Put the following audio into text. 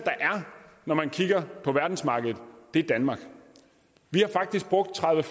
når man kigger på verdensmarkedet er danmark vi har faktisk brugt tredive